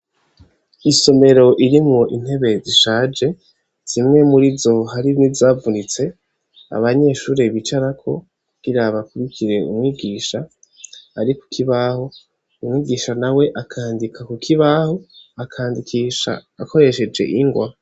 Isomero iri mu intebe zishaje zimwe muri zo haribe zavunitse abanyeshure bicarako kukirabakubikire umwigisha ari kukibaho umwigisha na we akandika ku kibaho akandikisha akoresheje ingwa.